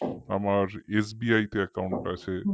আমার SBI তে account আছে